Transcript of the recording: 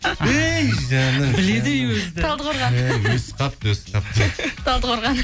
өй жаным біледі ей өзі талдықорған өсіп қалыпты өсіп қалыпты талдықорған